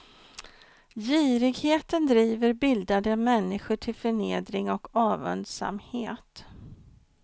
Girigheten driver bildade människor till förnedring och avundsamhet.